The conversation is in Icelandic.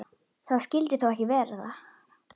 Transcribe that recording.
Það skyldi þó ekki vera?